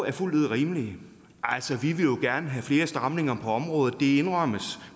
er fuldt ud rimelige altså vi vil jo gerne have flere stramninger på området det indrømmes